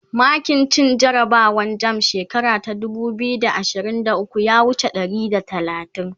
makin cin jarabawan jamb shekara ta dubu biyu da ashirin da ukwu ya wuce ɗari da talatin